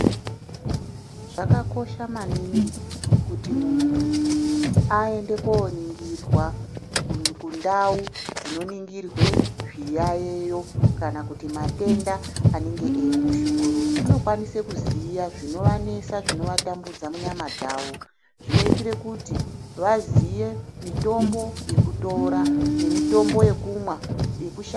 Zvakakosha maningi kuti muntu aende koningirwa kundau dzinoningirwe zviyaiyo kana kuti matenda anenge eimushungurudza. Unokwanisa kuziya zvinovanesa zvinovatambudza munyama dzavo zvinoitire kuti vaziye mitombo yekutora nemitombo yekumwa yekusha.